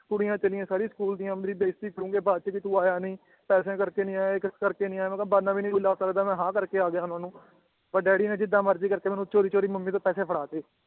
ਕੁੜੀਆਂ ਚੱਲੀਆਂ ਸਾਰੀ ਸਕੂਲ ਦੀਆਂ ਮੇਰੀ ਬੇਜ਼ਤੀ ਕਰੂਂਗੇ ਬਾਅਦ ਚ ਜੇ ਤੂੰ ਆਇਆ ਨੀ ਪੈਸਿਆਂ ਕਰਕੇ ਨੀ ਆਇਆ ਯਾਂ ਕਿਸ ਕਰਕੇ ਨੀ ਆਇਆ ਮੈ ਕਾ ਬਹਾਨਾ ਵੀ ਨੀ ਕੋਈ ਲਾ ਸਕਦਾ ਮੈ ਤਾਂ ਹਾਂ ਕਰਕੇ ਆਗਿਆ ਉਹਨਾਂ ਨੂੰ ਪਰ ਡੈਡੀ ਨੇ ਜਿਦਾਂ ਮਰਜੀ ਕਰਕੇ ਮੈਨੂੰ ਚੋਰੀ ਚੋਰੀ ਮਮ੍ਮੀ ਤੋਂ ਪੈਸੇ ਫੜਾਤੇ